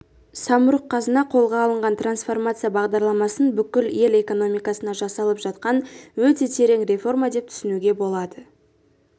самұрық-қазына қолға алған трансформация бағдарламасын бүкіл ел экономикасына жасалып жатқан өте терең реформа деп түсінуге болады